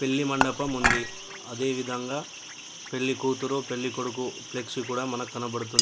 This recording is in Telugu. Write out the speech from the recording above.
పెళ్లి మండపం ఉంది. అ-అదేవిధంగా పెళ్లికూతురు పెళ్లికొడుకు ప్లెక్సీ కూడా మనకు కనబడుతుంది.